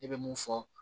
Ne bɛ mun fɔ